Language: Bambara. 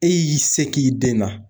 E y'i se k'i den na.